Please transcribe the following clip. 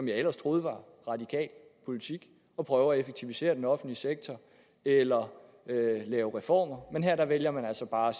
jeg ellers troede var radikal politik at prøve at effektivisere den offentlige sektor eller lave reformer men her vælger man altså bare